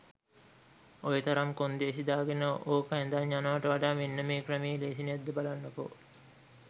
ඔයතරම් කොන්දේසි දාගෙන ඕක ඇදන් යනවට වඩා මෙන්න මේ ක්‍රමේ ලේසි නැද්ද බලන්නකෝ.